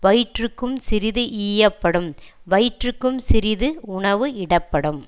வயிற்றுக்கும் சிறிது ஈயப்படும் வயிற்றுக்கும் சிறிது உணவு இடப்படும்